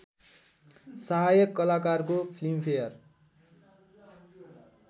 सहायक कलाकारको फिल्मफेयर